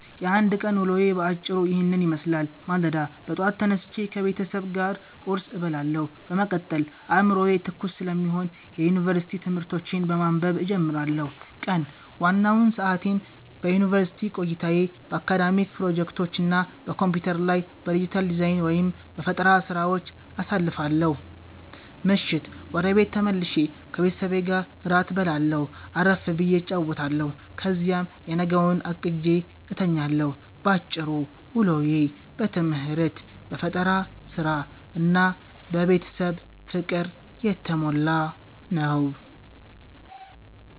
የአንድ ቀን ውሎዬ በአጭሩ ይህንን ይመስላል፦ ማለዳ፦ ጠዋት ተነስቼ ከቤተሰብ ጋር ቁርስ እበላለሁ፤ በመቀጠል አዕምሮዬ ትኩስ ስለሚሆን የዩኒቨርሲቲ ትምህርቶቼን በማንበብ እጀምራለሁ። ቀን፦ ዋናውን ሰዓቴን በዩኒቨርሲቲ ቆይታዬ፣ በአካዳሚክ ፕሮጀክቶች እና በኮምፒውተር ላይ በዲጂታል ዲዛይን/በፈጠራ ሥራዎች አሳልፋለሁ። ምሽት፦ ወደ ቤት ተመልሼ ከቤተሰቤ ጋር እራት እበላለሁ፣ አረፍ ብዬ እጫወታለሁ፤ ከዚያም የነገውን አቅጄ እተኛለሁ። ባጭሩ፤ ውሎዬ በትምህርት፣ በፈጠራ ሥራ እና በቤተሰብ ፍቅር የተሞላ ነው።